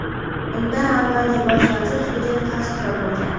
Undan avvalgi bosh vazir Fidel Kastro bo‘lgan.